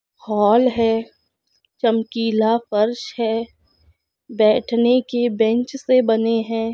Hall है चमकीला फर्श है बेठने की बेंच से बने है।